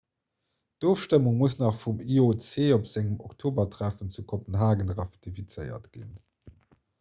d'ofstëmmung muss nach vum ioc op sengem oktobertreffen zu kopenhage ratifizéiert ginn